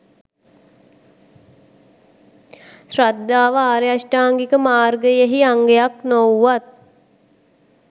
ශ්‍රද්ධාව ආර්ය අෂ්ටාංගික මාර්ගයෙහි අංගයක් නොවූවත්